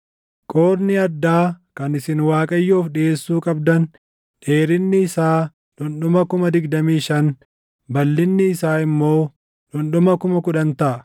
“Qoodni addaa kan isin Waaqayyoof dhiʼeessuu qabdan dheerinni isaa dhundhuma 25,000, balʼinni isaa immoo dhundhuma 10,000 taʼa.